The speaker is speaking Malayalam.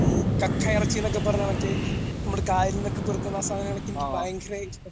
ഈ കക്കയിറച്ചി എന്നൊക്കെ പറഞ്ഞ മറ്റേ നമ്മുടെ കായലിൽ നിന്നൊക്കെ പെറുക്കുന്ന ആ സാധനങ്ങളൊക്കെ എനിക്ക് ഭയങ്കര ഇഷ്ട